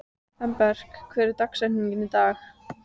Embrek, hver er dagsetningin í dag?